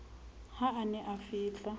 ha a ne a fihla